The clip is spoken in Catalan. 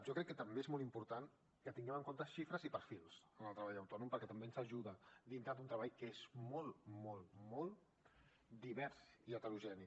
jo crec que també és molt important que tinguem en compte xifres i perfils en el treball autònom perquè també ens ajuda dintre d’un treball que és molt molt divers i heterogeni